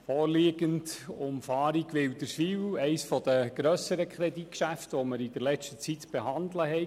Mit der Umfahrung Wilderswil liegt eines der grösseren Kreditgeschäfte vor, das wir in letzter Zeit zu behandeln hatten.